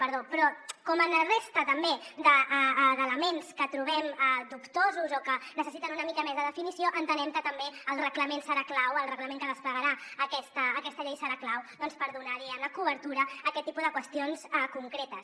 però com en la resta també d’elements que trobem dubtosos o que necessiten una mica més de definició entenem que també el reglament serà clau el reglament que desplegarà aquest aquesta llei serà clau doncs per donar diguem ne cobertura a aquest tipus de qüestions concretes